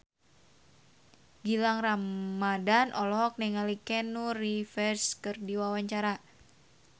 Gilang Ramadan olohok ningali Keanu Reeves keur diwawancara